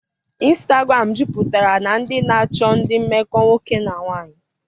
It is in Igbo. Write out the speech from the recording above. ịnstagram juputara na ndị na-achọ ndị mmekọ nwoke na nwanyị.